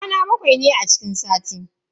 Kwana bakwai ne a cikin sati.